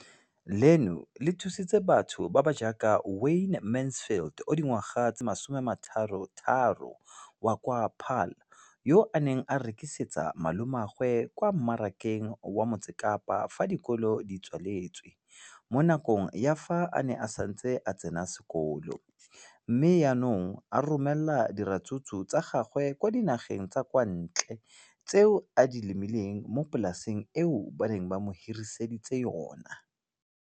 leno le thusitse batho ba ba jaaka Wayne Mansfield, 33, wa kwa Paarl, yo a neng a rekisetsa malomagwe kwa Marakeng wa Motsekapa fa dikolo di tswaletse, mo nakong ya fa a ne a santse a tsena sekolo, mme ga jaanong o romela diratsuru tsa gagwe kwa dinageng tsa kwa ntle tseo a di lemileng mo polaseng eo ba mo hiriseditseng yona.